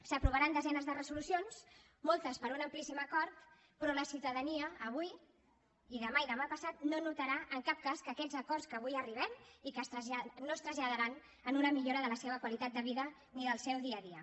s’aprovaran desenes de resolucions moltes per un amplíssim acord però la ciutadania avui i demà i demà passat no notarà en cap cas aquests acords a què avui arribem i que no es traslladaran en una millora de la seva qualitat de vida ni del seu dia a dia